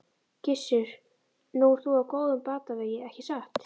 Gissur: Nú ert þú á góðum batavegi ekki satt?